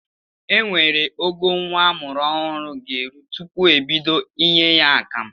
Enwere ogo nwa amụrụ ọhụrụ ga-eru tupu ebido inye ya akamụ.